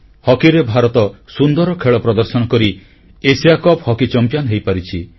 ହକିରେ ଭାରତ ସୁନ୍ଦର ଖେଳ ପ୍ରଦର୍ଶନ କରି ଏସିଆ କପ୍ ହକି ଚମ୍ପିଆନ ହୋଇପାରିଛି